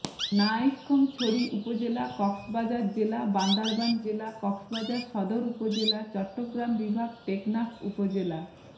নাইক্ষ্যংছড়ি উপজেলা কক্সবাজার জেলা বান্দরবান জেলা কক্সবাজার সদর উপজেলা চট্টগ্রাম বিভাগ টেকনাফ উপজেলা